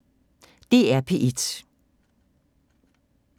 DR P1